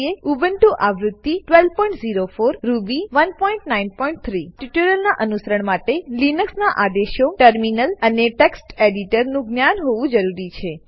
Ubuntu આવૃત્તિ 1204 Ruby 193 આ ટ્યુટોરીયલનાં અનુસરણ માટે તમને લિનક્સ નાં આદેશો ટર્મિનલ ટર્મિનલ અને text એડિટર ટેક્સ્ટ એડિટર નું જ્ઞાન હોવું જરૂરી છે